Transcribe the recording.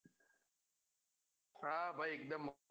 હા ભાઈ એક ડેમ મોં